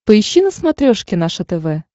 поищи на смотрешке наше тв